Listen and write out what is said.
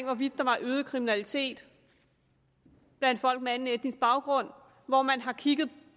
hvorvidt der var øget kriminalitet blandt folk med en anden etnisk baggrund og hvor man har kigget